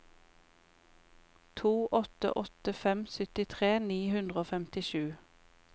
to åtte åtte fem syttitre ni hundre og femtisju